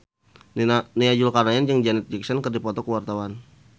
Nia Zulkarnaen jeung Janet Jackson keur dipoto ku wartawan